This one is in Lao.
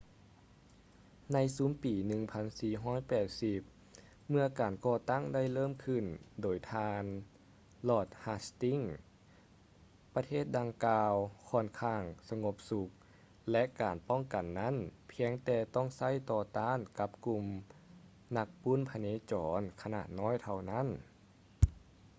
ໃນຊຸມປີ 1480 ເມຶ່ອການກໍ່ຕັ້ງໄດ້ເລີ່ມຂຶ້ນ ໂດຍທ່ານ ລອດ ຮາສ໌ຕິງສ໌ lord hastings ປະເທດດັ່ງກ່າວ ຄ້ອນຂ້າງສະຫງົບສຸກ ແລະ ການປ້ອງກັນນັ້ນ ພຽງແຕ່ຕ້ອງໃຊ້ຕໍ່ຕ້ານກັບກຸ່ມນັກປຸ້ນພະເນຈອນຂະໜາດນ້ອຍເທົ່ານັ້ນ